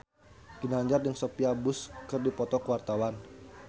Ginanjar jeung Sophia Bush keur dipoto ku wartawan